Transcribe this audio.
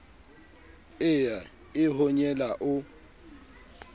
e ya e honyela o